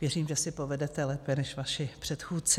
Věřím, že si povedete lépe než vaši předchůdci.